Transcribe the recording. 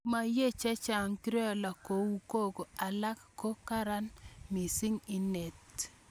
Ma yiey chechang criollo kou koko alak ako karan mising inet